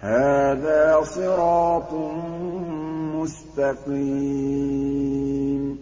هَٰذَا صِرَاطٌ مُّسْتَقِيمٌ